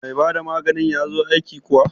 Mai bada maganin ya zo aiki yau kuwa?